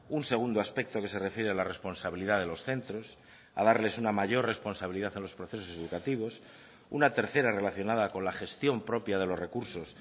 un segundo aspecto que se refiere a la responsabilidad de los centros a darles una mayor responsabilidad a los procesos educativos una tercera relacionada con la gestión propia de los recursos